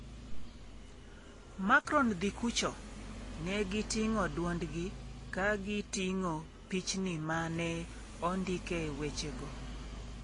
“Macron, dhi kucho” ne giting'o duondgi, ka giting’o pichni ma ne ondike wechego.